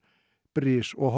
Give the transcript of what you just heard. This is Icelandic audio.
bris og